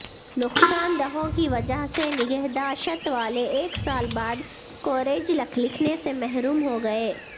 نقصان دہوں کی وجہ سے نگہداشت والے ایک سال بعد کوریج لکھنے سے محروم ہوگئے